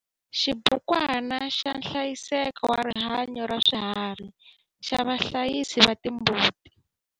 XIBUKWANA XA NHLAYISEKO WA RIHANYO RA SWIHARHI XA VAHLAYISI VA TIMBUTI.